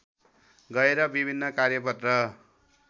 गएर विभिन्न कार्यपत्र